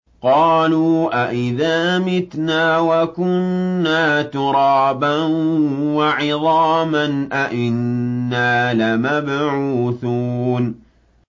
قَالُوا أَإِذَا مِتْنَا وَكُنَّا تُرَابًا وَعِظَامًا أَإِنَّا لَمَبْعُوثُونَ